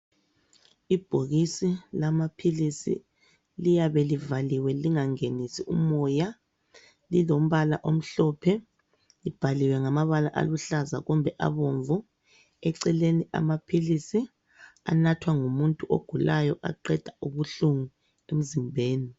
Ibhokisi lamaphilisi liyabe livaliwe lingangenisi umoya lilombala omhlophe libhaliwe ngamabala aluhlaza kumbe abomvu. Eceleni amaphilisi anathwa ngumuntu ogulayo. Aqeda ubuhlungu emzimbeni.